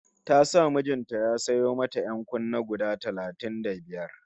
Ta sa mijin ta ya sayo mata ƴan-kunne guda talatin da biyar